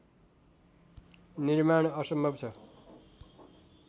निर्माण असम्भव छ